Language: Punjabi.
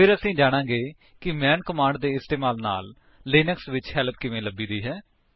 ਫਿਰ ਅਸੀ ਜਾਨਾਂਗੇ ਕਿ ਮੈਨ ਕਮਾਂਡ ਦੇ ਇਸਤੇਮਾਲ ਨਾਲ ਲਿਨਕਸ ਵਿੱਚ ਹੈਲਪ ਕਿਵੇਂ ਲਭੀ ਦੀ ਹੈ